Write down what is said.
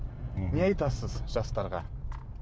не айтасыз жастарға